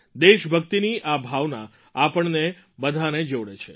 દેશભક્તિની આ ભાવના આપણને બધાંને જોડે છે